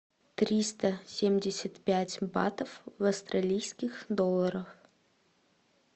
триста семьдесят пять батов в австралийских долларах